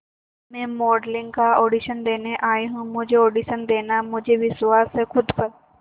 मैं मॉडलिंग का ऑडिशन देने आई हूं मुझे ऑडिशन देना है मुझे विश्वास है खुद पर